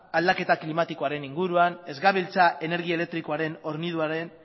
aldaketa klimatikoaren inguruan ez gabiltza energi elektrikoaren horniduraren